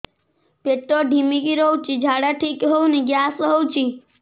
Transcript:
ପେଟ ଢିମିକି ରହୁଛି ଝାଡା ଠିକ୍ ହଉନି ଗ୍ୟାସ ହଉଚି